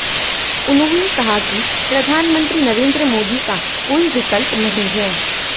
उन्होंने कहा कि प्रधानमंत्री नरेंद्र मोदी का कोई विकल्प नहीं है